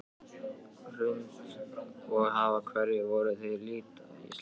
Hrund: Og af hverju voruð þið að lita íslenska fánann?